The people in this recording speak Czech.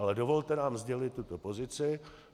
Ale dovolte nám sdělit tuto pozici.